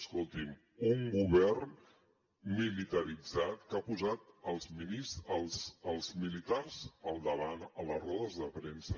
escolti’m un govern militaritzat que ha posat els militars al davant a les rodes de premsa